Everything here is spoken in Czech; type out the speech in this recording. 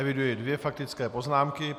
Eviduji dvě faktické poznámky.